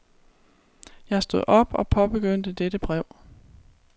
Jeg stod op og påbegyndte dette brev.